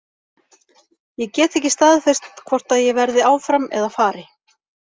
Ég get ekki staðfest hvort að ég verði áfram eða fari.